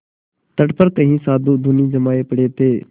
तट पर कई साधु धूनी जमाये पड़े थे